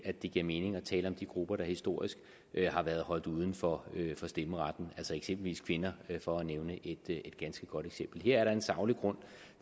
at det giver mening at tale om de grupper der historisk har været holdt uden for stemmeretten altså eksempelvis kvinder for at nævne et ganske godt eksempel her er der en saglig grund